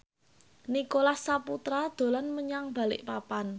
Nicholas Saputra dolan menyang Balikpapan